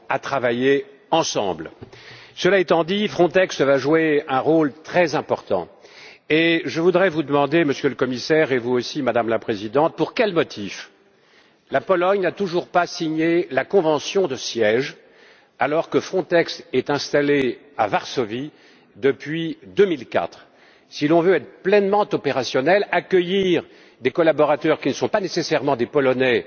Cette action est une action véritablement européenne, qui engage nos gouvernements à travailler ensemble. Cela étant dit, Frontex va jouer un rôle très important, et je voudrais vous demander, Monsieur le Commissaire, et à vous aussi, Madame la Présidente, pour quel motif la Pologne n'a toujours pas signé la convention de siège, alors que Frontex est installée à Varsovie depuis 2004. Si l'on veut être pleinement opérationnel et accueillir des collaborateurs qui ne sont pas nécessairement des Polonais